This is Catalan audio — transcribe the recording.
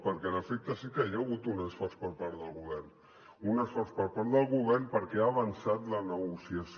perquè en efecte sí que hi ha hagut un esforç per part del govern un esforç per part del govern perquè ha avançat la negociació